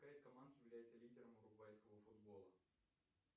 какая из команд является лидером уругвайского футбола